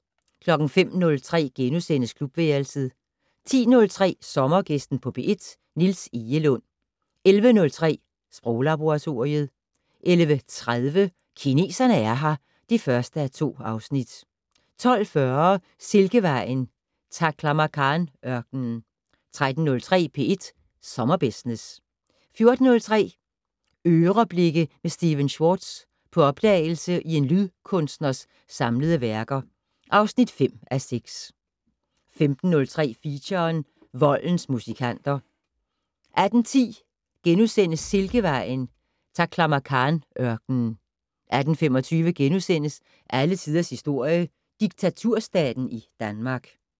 05:03: Klubværelset * 10:03: Sommergæsten på P1: Niels Egelund 11:03: Sproglaboratoriet 11:30: Kineserne er her (1:2) 12:40: Silkevejen: Taklamakan-ørkenen 13:03: P1 Sommerbusiness 14:03: "Øreblikke" med Stephen Schwartz - på opdagelse i en lydkunstners samlede værker (5:6) 15:03: Feature: Voldens musikanter 18:10: Silkevejen: Taklamakan-ørkenen * 18:25: Alle tiders historie: Diktaturstaten i Danmark *